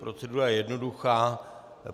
Procedura je jednoduchá.